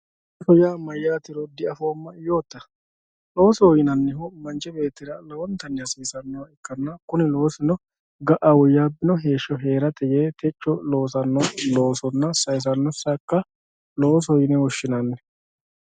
Loosoho yaa maatiro diafoomma yoottatera, loosoho yinannihu manchi beettira lowontanni hasiisanoha ikkanna kuni loosino ga"a woyyaabino heeshsho heerate yee techo loosano loosonna sayisano saga loosoho yine woshshinanni.